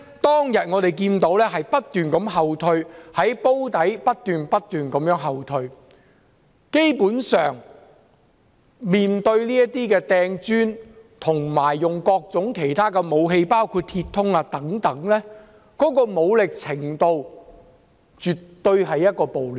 當天，我們看到警方的防線從"煲底"不斷後退，基本上，示威者擲磚及使用各種其他武器，包括鐵通等，武力程度絕對稱得上是暴亂。